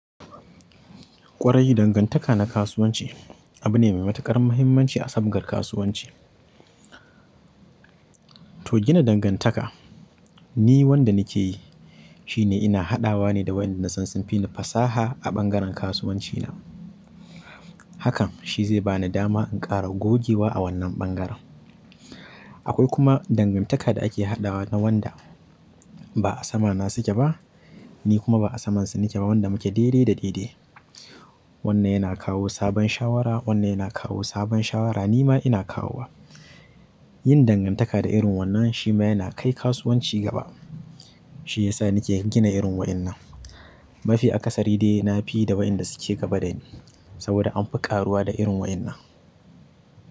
Ƙwarai dangantaka na kasuwanci abu ne mai matuƙar mahimmanci a sabgar kasuwanci. To gina dangantaka, ni wanda nakeyi, shine ina haɗawane da wayanda sun fini fasaha a ɓangaren kasuwanci. Hakan shi zai ba ni dama in ƙara gogewa a wannan bangaren. Akwai kuma dangantaka da ake haɗawa na wanda ba a sama na suke ba, ni kuma ba a samansu nike ba wanda muke dai dai da dai dai. Wannan yana kawo sabon shawara, wannan yana kawo sabon shawara, ni ma ina kawowa. Yin dangantaka da irin wannan shi ma yana kai kasuwanci gaba. Shi ya sa nike gina irin waƴannan. Mafi akasari dai na fi da waɗanda suke gaba dani saboda an fi ƙaruwa da irin waƴannan.